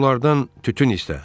Onda onlardan tütün istə.